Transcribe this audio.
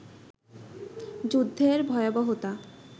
যুদ্ধের ভয়াবহতা